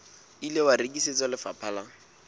ile wa rekisetswa lefapha la